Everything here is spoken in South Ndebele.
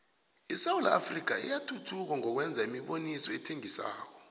isewula afrika iyathuthuka ngokwenza imiboniso ethengisako